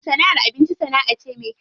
Sana'ar abinci sana'a ce me kyau.